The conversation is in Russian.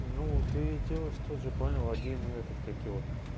ну ты идёшь тут же понял один этот как его